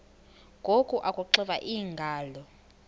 ngoku akuxiva iingalo